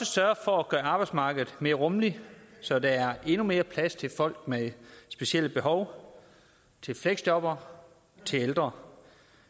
sørge for at gøre arbejdsmarkedet mere rummeligt så der er endnu mere plads til folk med specielle behov til fleksjobbere til ældre